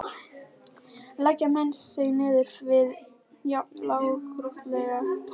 Leggja menn sig niður við jafn lágkúrulegt hjal?